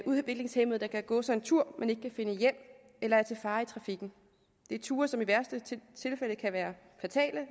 udviklingshæmmede der kan gå sig en tur men som ikke kan finde hjem eller er til fare i trafikken det er ture som i værste tilfælde kan være fatale